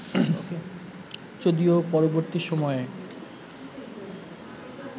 যদিও পরবর্তী সময়ে